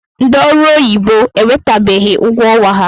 Ndị ọrụ oyibo enwetabeghi ụgwọ ọnwa ha.